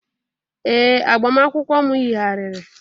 ee, agbamakwụkwọ m yigharịrị.